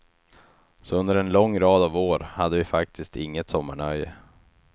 Så under en lång rad av år hade vi faktiskt inget sommarnöje.